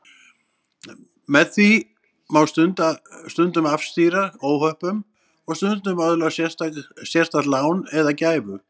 Með því má stundum afstýra óhöppum og stundum öðlast sérstakt lán eða gæfu.